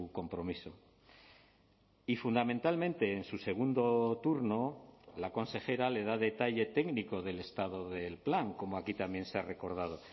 compromiso y fundamentalmente en su segundo turno la consejera le da detalle técnico del estado del plan como aquí también se ha recordado